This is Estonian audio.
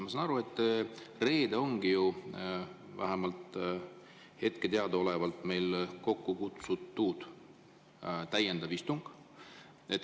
" Ma saan aru, et reedel ongi vähemalt hetkel teadaolevalt meil kokku kutsutud täiendav istung.